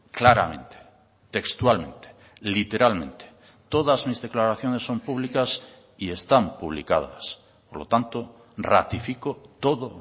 claramente textualmente literalmente todas mis declaraciones son públicas y están publicadas por lo tanto ratifico todo